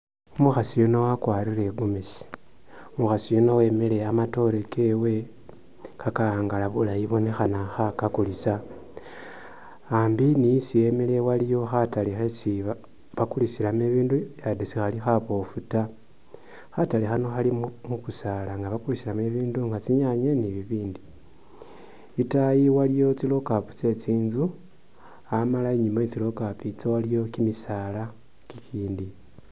Umukhasi yuuno wakwarile i'gomezi, umukhasi yuuno wemile amatoore kewe kakaangala bulayi sibonekha khakakhulisa ambi nisi emikhile waliwo khatale khesi bakulisilamo ibindu khakhaba sikhali khabofu taa khatale khano Khali mukusaala nga bakulisilamo bibindu nga tsinyanye ni'binbindi itaayi waliwo tsilocapu tse tse tsinzu Amala inyuma we tsilocapu tso waliyo kisaala kikindi